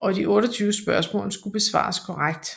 Og de 28 spørgsmål skulle besvares korrekt